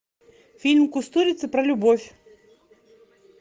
фильм кустурица про любовь